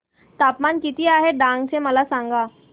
तापमान किती आहे डांग चे मला सांगा